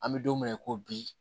An bɛ don mina i ko bi